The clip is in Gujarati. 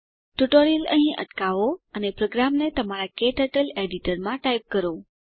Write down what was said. ટ્યુટોરીયલ અહીં અટકાવો અને પ્રોગ્રામને તમારા ક્ટર્ટલ એડીટરમાં ટાઈપ કરો